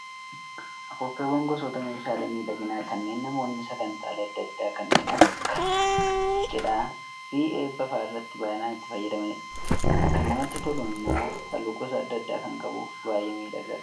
Afuuffeewwan gosoota meeshaalee miidhaginaa kanneen namoonni sagantaalee adda addaa kanneen akka cidhaa fi eebbaa fa'aa irratti baay'inaan itti fayyadamanidha. Kan namatti tolu immoo halluu gosa adda addaa kan qabuu fi baay'ee miidhaga.